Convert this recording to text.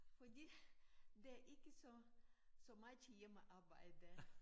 Fordi der ikke så så meget hjemmearbejde